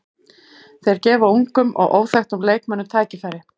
Þeir gefa ungum og óþekktum leikmönnum tækifæri.